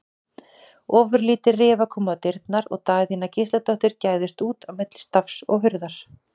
Ofurlítil rifa kom á dyrnar og Daðína Gísladóttir gægðist út á milli stafs og hurðar.